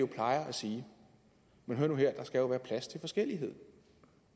plejer at sige men hør nu her der skal være plads til forskellighed